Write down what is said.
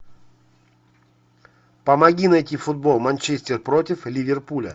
помоги найти футбол манчестер против ливерпуля